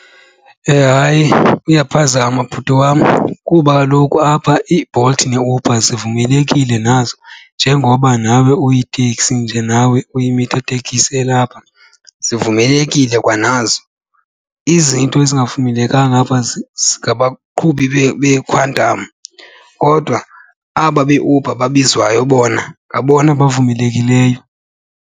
Hayi, uyaphazama bhuti wam kuba kaloku apha iiBolt neeUber zivumelekile nazo njengoba nawe uyiteksi, nje nawe uyimitha tekisi elapha, zivumelekile kwanazo. Izinto ezingavumelekanga apha ngabaqhubi beeQuantum kodwa aba beUber babizwayo bona ngabona bavumelekileyo.